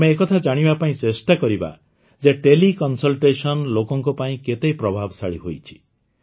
ଆମେ ଏକଥା ଜାଣିବା ପାଇଁ ଚେଷ୍ଟା କରିବା ଯେ ଟେଲି କନ୍ସଲ୍ଟେଶନ୍ ଲୋକଙ୍କ ପାଇଁ କେତେ ପ୍ରଭାବଶାଳୀ ହୋଇଛି